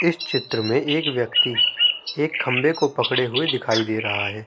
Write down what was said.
इस चित्र में एक व्यक्ति एक खम्बे को पकड़े हुए दिखाई दे रहा है।